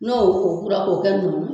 No o kora k'o kɛ nugu